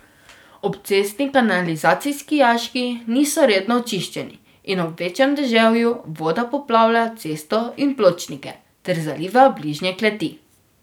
Obcestni kanalizacijski jaški niso redno čiščeni in ob večjem deževju voda poplavlja cesto in pločnike ter zaliva bližnje kleti.